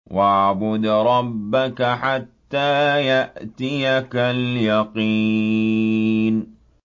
وَاعْبُدْ رَبَّكَ حَتَّىٰ يَأْتِيَكَ الْيَقِينُ